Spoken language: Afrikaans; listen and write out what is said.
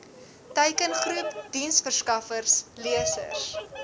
teikengroep diensverskaffers lesers